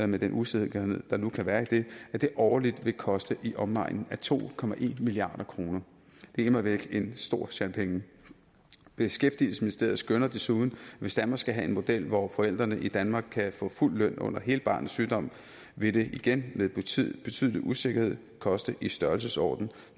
med den usikkerhed der nu kan være i det at det årligt vil koste i omegnen af to milliard kroner det er immer væk en stor sjat penge beskæftigelsesministeriet skønner desuden at hvis danmark skal have en model hvor forældrene i danmark kan få fuld løn under hele barnets sygdom vil det igen med betydelig betydelig usikkerhed koste i størrelsesordenen